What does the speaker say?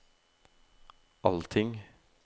allting